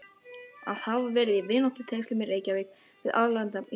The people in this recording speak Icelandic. Að hafa verið í vináttutengslum í Reykjavík við alræmdan Íslending